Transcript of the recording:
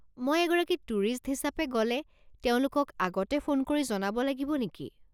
মই এগৰাকী টুৰিষ্ট হিচাপে গ'লে তেওঁলোকক আগতে ফোন কৰি জনাব লাগিব নেকি?